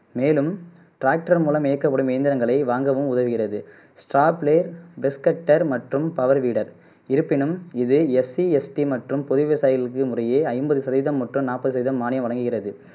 மேலும் ட்ராக்டர் மூலம் இயக்கப்படும் இயந்திரங்களை வாங்கவும் உதவுகிறது ஸ்டார்ப்லை பெஸ்கட்டர் மற்றும் பவர் வீடர் இருப்பினும் இது எஸ்சி எஸ்டி மற்றும் பொது விவசாயிகள் எங்கிற முறையே ஐம்பது சதவிகிதம் மொத்தம் நாப்பது சதவிகிதம் மானியம் வழங்குகிறது